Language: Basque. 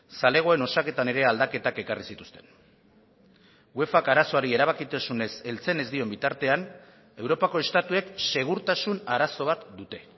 zalegoen osaketan ere aldaketak ekarri zituzten uefak arazoari erabakitasunez heltzen ez dion bitartean europako estatuek segurtasun arazo bat dute